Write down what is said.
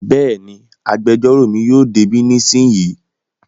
Bẹ́ẹ̀ni, agbẹjọ́rò mi yóò dé bí nísìnyí